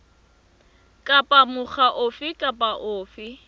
kapa mokga ofe kapa ofe